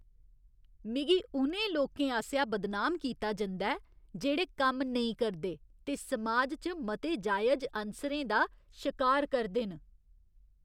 मिगी उ'नें लोकें आसेआ बदनाम कीता जंदा ऐ जेह्ड़े कम्म नेईं करदे ते समाज च मते जायज अनसरें दा शकार करदे न।